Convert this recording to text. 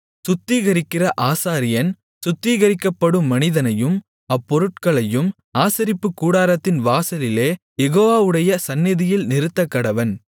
சுத்திகரிக்கிற ஆசாரியன் சுத்திகரிக்கப்படும் மனிதனையும் அப்பொருட்களையும் ஆசரிப்புக்கூடாரத்தின் வாசலிலே யெகோவாவுடைய சந்நிதியில் நிறுத்தக்கடவன்